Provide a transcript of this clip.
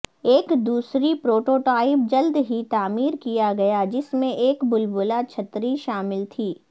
ایک دوسری پروٹوٹائپ جلد ہی تعمیر کیا گیا جس میں ایک بلبلا چھتری شامل تھی